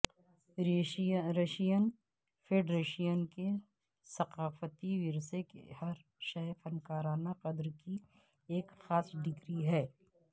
Russian federation کے ثقافتی ورثے کی ہر شئی فنکارانہ قدر کی ایک خاص ڈگری ہے